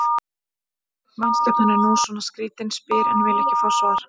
Mannskepnan er nú svona skrýtin, spyr en vill ekki fá svar.